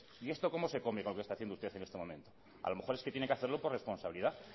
y esto cómo se come con lo que está haciendo usted en este momento a lo mejor es que tiene que hacerlo por responsabilidad